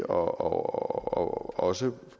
og også